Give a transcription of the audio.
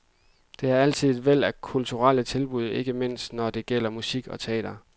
Der er altid et væld af kulturelle tilbud, ikke mindst når det gælder musik og teater.